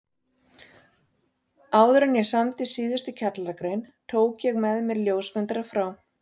Áðuren ég samdi síðustu kjallaragrein tók ég með mér ljósmyndara frá